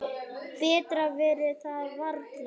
Betra verður það varla.